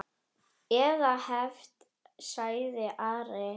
Eða hefnt, sagði Ari.